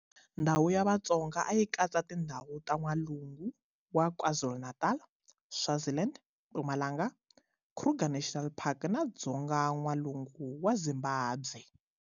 Ndhawu ya Vatsonga a yi katsa tindhawu ta N'walungu wa KwaZulu-Natal, Swaziland, Mpumalanga, Kruger National Park na Dzonga-N'walungu wa Zimbabwe.